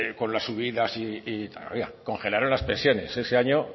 con las subidas congelaron las pensiones ese año